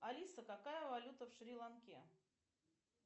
алиса какая валюта в шри ланке